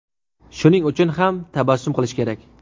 Shuning uchun ham tabassum qilish kerak.